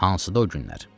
Hansıdır o günlər?